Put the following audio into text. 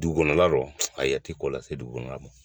Dugukɔnɔ la lɔ ayi a tɛ ko lase dugukɔnɔna mɔ.